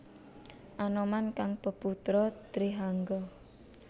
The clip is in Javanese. Anoman kang peputra Trihangga